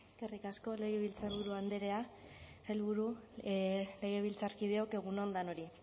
eskerrik asko legebiltzarburu andrea sailburu legebiltzarkideok egun on denoi